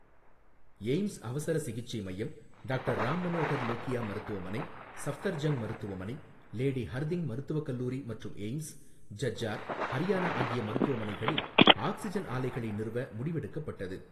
AIIMS அவசர சிகிச்சை மையம், டாக்டர் ராம் மனோகர் லோகியா மருத்துவமனை, சஃப்தர்ஜங்க் மருத்துவமனை, லேடி ஹர்திங் மருத்துவ கல்லூரி மற்றும் எய்ம்ஸ், ஜஜ்ஜார், ஹரியானா ஆகிய மருத்துவமனைகளில் ஆக்சிஜன் ஆலைகளை நிறுவ முடிவெடுக்கப்பட்டது.